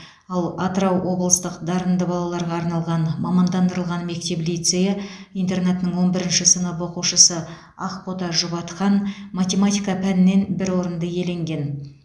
ал атырау облыстық дарынды балаларға арналған мамандандырылған мектеп лицейі интернатының он бірінші сынып оқушысы ақбота жұбатқан математика пәнінен бір орынды иеленген